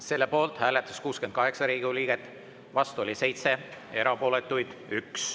Selle poolt hääletas 68 Riigikogu liiget, vastu oli 7, erapooletuid 1.